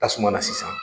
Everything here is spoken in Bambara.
Tasuma na sisan